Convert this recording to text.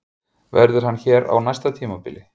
Verður hann hér á næsta tímabili?